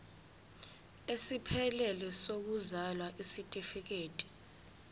esiphelele sokuzalwa isitifikedi